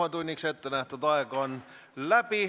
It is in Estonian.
Infotunniks ettenähtud aeg on läbi.